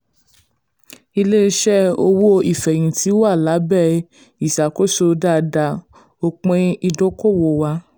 ilé-iṣẹ́ owó ìfẹ̀yìntì wà lábẹ́ ìṣàkóso dáadáa; òpin ìdókòwò um wà.